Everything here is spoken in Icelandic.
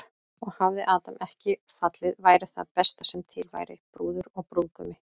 Og hefði Adam ekki fallið væri það besta sem til væri, brúður og brúðgumi.